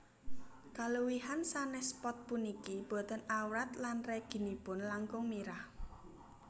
Kaluwihan sanès pot puniki boten awrat lan reginipun langkung mirah